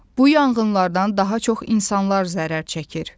Bu yanğınlardan daha çox insanlar zərər çəkir.